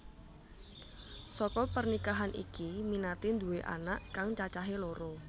Saka pernikahan iki Minati nduwé anak kang cacahé loro